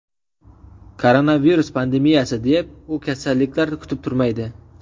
Koronavirus pandemiyasi deb, u kasalliklar kutib turmaydi.